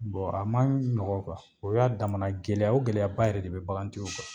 a man ɲɔgɔn o y'a damana gɛlɛya o gɛlɛyaba yɛrɛ de bɛ bagantigiw kan